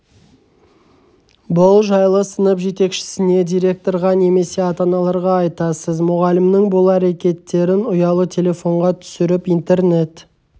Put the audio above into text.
бұл жайлы сынып жетекшісіне директорға немесе ата аналарға айтасыз мұғалімнің бұл әрекеттерін ұялы телефонға түсіріп интернет